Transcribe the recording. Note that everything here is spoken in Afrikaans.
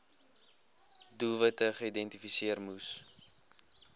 doelwitte geïdentifiseer moes